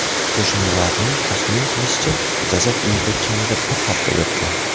Qo‘shnilarning taxmin qilishicha, jasad uyda kamida bir hafta yotgan.